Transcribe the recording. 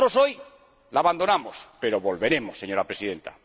Nosotros hoy lo abandonamos, pero volveremos, señora Presidenta.